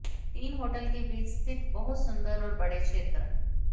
तीन होटल के बीच स्थित बहुत सुंदर और बड़े क्षेत्र